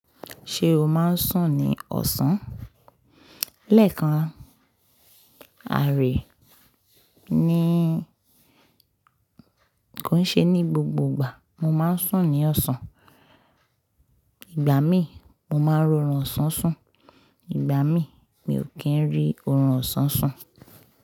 Ṣé o máa ń sùn ní ọ̀sán? Lẹ́ẹ̀kan, a rí i ní kò n ṣe ní gbogbo ìgbà mo máa ń sùn ní ọ̀sán. Ìgbà mí mo máa ń rorun ọ̀sán sùn, ìgbà mi mi ò kí ń rí orun ọ̀sán sùn.